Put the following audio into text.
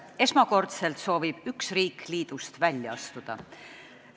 Esmakordselt soovib üks riik liidust välja astuda.